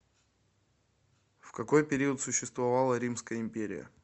в какой период существовала римская империя